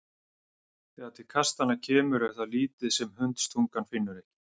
Þegar til kastanna kemur er það lítið sem hundstungan finnur ekki.